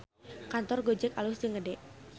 Kantor Gojek alus jeung gede